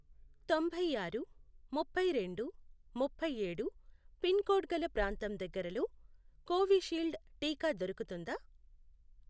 తొంభైఆరు, ముప్పైరెండు, ముప్ఫైఏడు, pin code గల ప్రాంతం దగ్గరలో కోవిషీల్డ్ టీకా దొరుకుతుందా?